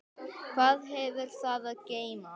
Hvað hefur það að geyma?